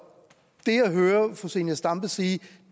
det jeg hører fru zenia stampe sige